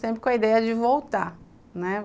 Sempre com a ideia de voltar, né?